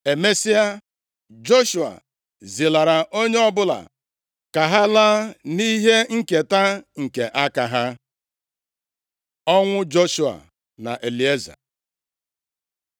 Emesịa, Joshua zilara onye ọbụla, ka ha laa nʼihe nketa nke aka ha. Ọnwụ Joshua na Elieza